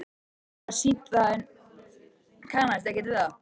Mér var sýnt það en ég kannaðist ekkert við það.